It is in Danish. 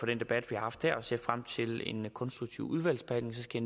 debat vi har haft her jeg ser frem til en konstruktiv udvalgsbehandling så skal